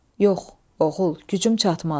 Yox, oğul, gücüm çatmaz.